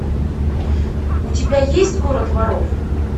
у тебя есть город воров